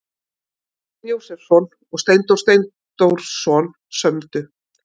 Þorsteinn Jósepsson og Steindór Steindórsson sömdu.